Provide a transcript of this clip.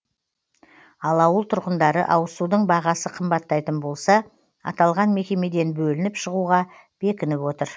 ал ауыл тұрғындары ауызсудың бағасы қымбаттайтын болса аталған мекемеден бөлініп шығуға бекініп отыр